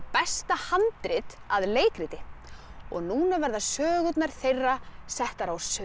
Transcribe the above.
besta handrit að leikriti og núna verða sögurnar þeirra settar á